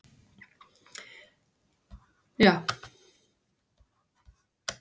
Davíð: Út af því að hann er alltaf að skamma mann.